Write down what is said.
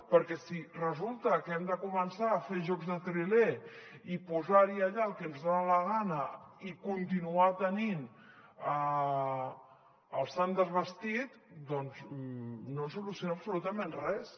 perquè si resulta que hem de començar a fer jocs de triler i posar hi allà el que ens dona la gana i continuar tenint el sant desvestit no soluciona absolutament res